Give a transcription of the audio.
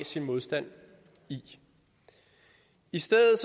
sin modstand i i stedet